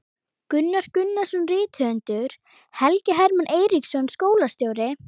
Gunnar Gunnarsson rithöfundur, Helgi Hermann Eiríksson skólastjóri